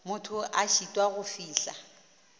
motho a šitwago go fihla